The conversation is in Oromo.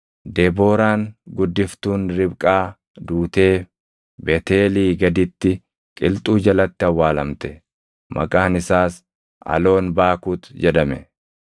Debooraan guddiftuun Ribqaa duutee Beetʼeelii gaditti qilxuu jalatti awwaalamte. Maqaan isaas Aloonbaakut jedhame.